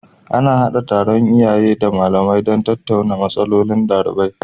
Ana hada taron iyaye da malamai don tattauna matsalar ɗalibai